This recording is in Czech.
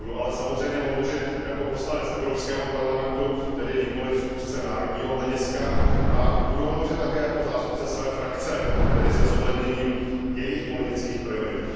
Budu ale samozřejmě hovořit jako poslanec Evropského parlamentu, tedy nikoliv z úzce národního hlediska a budu hovořit také jako zástupce své frakce, tedy se zohledněním jejích politických priorit.